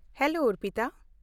Hello, Arpita.